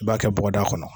I b'a kɛ bɔgɔda kɔnɔ